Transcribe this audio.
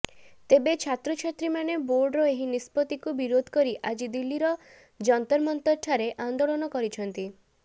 ତେବେ ଛାତ୍ରଛାତ୍ରୀମାନେ ବୋର୍ଡର ଏହି ନିଷ୍ପତ୍ତିକୁ ବିରୋଧ କରି ଆଜି ଦିଲ୍ଲୀର ଜନ୍ତରମନ୍ତରଠାରେ ଆନ୍ଦୋଳନ କରିଛନ୍ତିି